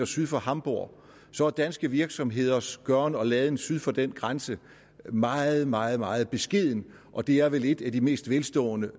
syd for hamborg så er danske virksomheders gøren og laden syd for den grænse meget meget meget beskeden og det er vel et af de mest velstående